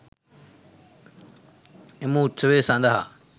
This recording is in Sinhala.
එම උත්සවය සඳහා